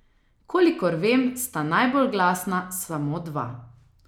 Kolikor vem sta najbolj glasna samo dva.